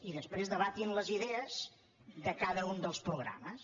i després debatin les idees de cada un dels programes